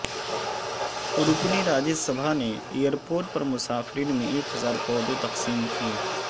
رکن راجیہ سبھا نے ایرپورٹ پر مسافرین میں ایک ہزار پودے تقسیم کئے